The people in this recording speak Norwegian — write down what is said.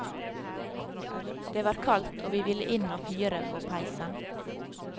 Det var kaldt, og vi ville inn og fyre på peisen.